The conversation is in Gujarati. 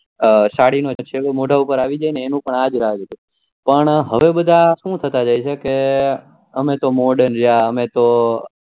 સાળી નો છેડો મોડા પર આવી જાય ને એનું આ જ રાજ છે પણ હવે બધા શુ થતા જાય છે કે અમે તો modern રહ્યા અમે તો